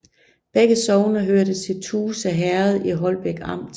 Begge sogne hørte til Tuse Herred i Holbæk Amt